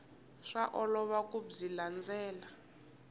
swa olova ku byi landzelela